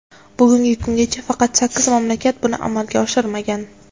Bugungi kungacha faqat sakkiz mamlakat buni amalga oshirmagan.